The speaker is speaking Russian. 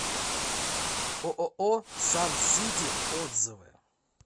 ооо сан сити отзывы